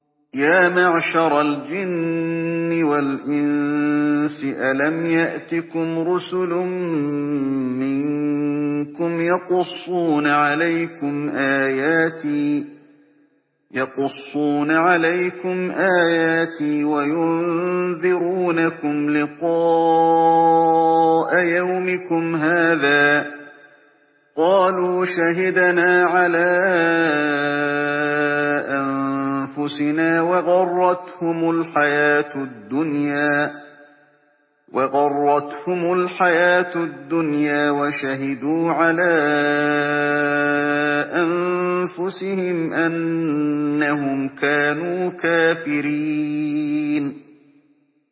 يَا مَعْشَرَ الْجِنِّ وَالْإِنسِ أَلَمْ يَأْتِكُمْ رُسُلٌ مِّنكُمْ يَقُصُّونَ عَلَيْكُمْ آيَاتِي وَيُنذِرُونَكُمْ لِقَاءَ يَوْمِكُمْ هَٰذَا ۚ قَالُوا شَهِدْنَا عَلَىٰ أَنفُسِنَا ۖ وَغَرَّتْهُمُ الْحَيَاةُ الدُّنْيَا وَشَهِدُوا عَلَىٰ أَنفُسِهِمْ أَنَّهُمْ كَانُوا كَافِرِينَ